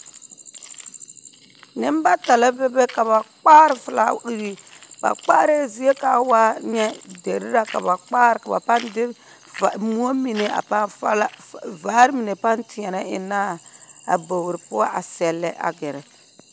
Nembata la bebe ka ba kpaare felaawiri, ba kpaarɛɛ zie ka a waa nyɛ deri ra ka ba kpaare ka ba pãã de moɔ mine a pãã fala f.. vaare mine pãã teɛnɛ ennɛ a bogiri poɔ a sɛllɛ gɛrɛ